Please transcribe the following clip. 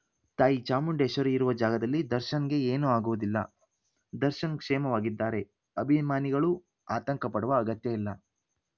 ತಾಯಿ ಚಾಮುಂಡೇಶ್ವರಿ ಇರುವ ಜಾಗದಲ್ಲಿ ದರ್ಶನ್‌ಗೆ ಏನೂ ಆಗುವುದಿಲ್ಲ ದರ್ಶನ್‌ ಕ್ಷೇಮವಾಗಿದ್ದಾರೆ ಅಭಿಮಾನಿಗಳು ಆತಂಕಪಡುವ ಅಗತ್ಯ ಇಲ್ಲ